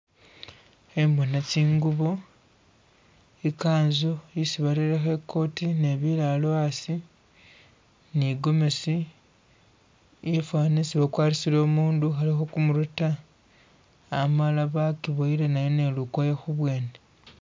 Khembona tsingubo ikanzu isi bareyekho i coti ne biraro asi ni gomesi ifana isi bakwarisile umundu ukhalikho kumurwe ta amala bakibuwele nayo nilukoye khubwene